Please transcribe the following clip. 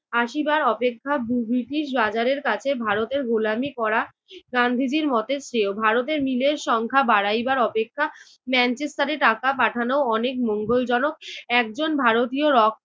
আসিবার অপেক্ষা দুভীর্তির বাজারের কাছে ভারতের গোলামী করা গান্ধীজির মতে শ্রেয়। ভারতের মিলের সংখ্যা বাড়াইবার অপেক্ষা মেনচেস্টারে টাকা পাঠানো অনেক মঙ্গলজনক একজন ভারতীয় rock